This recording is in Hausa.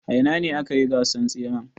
A ina akayi gasan tseren.